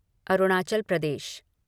Arunachal Pradesh